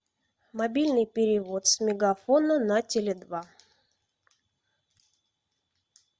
мобильный перевод с мегафона на теле два